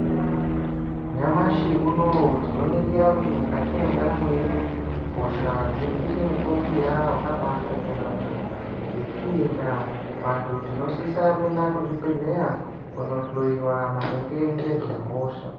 Nyamashi unowu tino ningira kuti mukati mwe ndaramo yedu hosha dziri kuite mu kurumbira wakabai shata yambo nge iyi ndaa vantu tinosisa kuenda ku zvibhedhleya kuno hloyiwa maringe ngezve hosha.